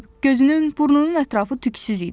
Gözünün, burnunun ətrafı tüksüz idi.